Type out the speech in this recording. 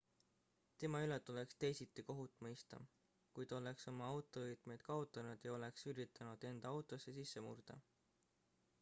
tema üle tuleks teisiti kohut mõista kui ta oleks oma autovõtmed kaotanud ja oleks üritanud enda autosse sisse murda